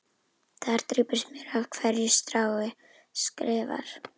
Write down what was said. Þar drýpur smjörið af hverju strái, skrifar